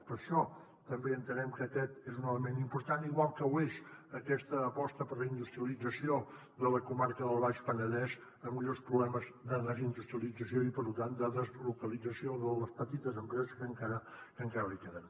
per això també entenem que aquest és un element important igual que ho és aquesta aposta per la industrialització de la comarca del baix penedès amb greus problemes de desindustrialització i per tant de deslocalització de les petites empreses que encara li queden